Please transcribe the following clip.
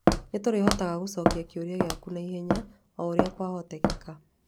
Nĩ tũrĩhotaga gũcokia kĩũria gĩaku na ihenya o ũrĩa kwahoteka.